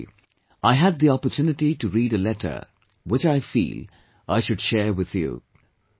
Recently, I had the opportunity to read a letter, which I feel, I should share with you